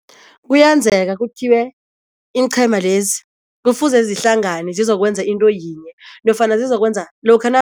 Kuyenzeka kuthiwe iinqhema lezi kufuze zihlangane zizokwenza into yinye nofana zizokwenza lokha